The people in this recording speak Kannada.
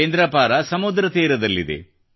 ಕೇಂದ್ರಪಾರ ಸಮುದ್ರದ ತೀರದಲ್ಲಿದೆ